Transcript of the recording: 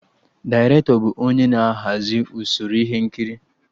Dairetọ bụ onye na-ahazi usoro ihe nkiri